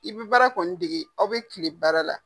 I bɛ baara kɔni dege, aw bɛ tile baara la.